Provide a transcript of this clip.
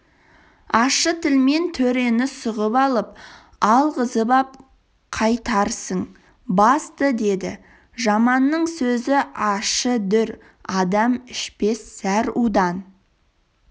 ащы тілмен төрені сұғып алып алғызып-ап қайтарсың басты деді жаманның сөзі ащы дүр адам ішпес зәр удан